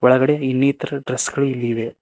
ಒಳಗಡೆ ಇನ್ನಿತರ ಡ್ರೆಸ್ ಗಳು ಇಲ್ಲಿ ಇವೆ.